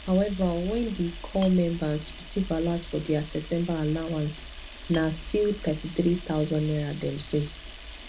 however wen di corp members receive alert for dia september allowance na still thirty-three thousand naira dem see